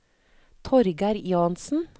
Torgeir Jansen